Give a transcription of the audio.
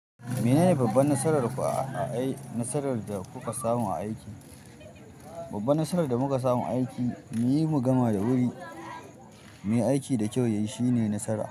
Menene babban nasarar ku a, a ai nasarar da kuka samu a aiki? Babban nasarar da muka samu a aiki, mu yi gama da wuri, muyi aiki da kyau yayi shine nasara.